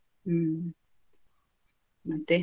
ಹ್ಮ್ ಮತ್ತೆ.